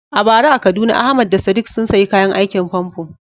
A bara a Kaduna Ahmad da Sadiq sun sayi kayan aikin famfo.